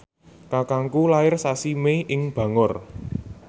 kakangku lair sasi Mei ing Bangor